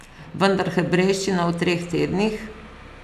Vendar hebrejščina v treh tednih?